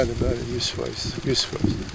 Bəli, bəli, 100%, 100%.